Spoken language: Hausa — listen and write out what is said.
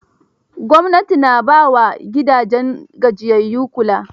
Gwamnati na ba wa gidajen gajiyayyu kula.